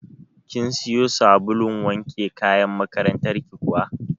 Kin siyo sabulun wanke kayan makarantar ki kuwa?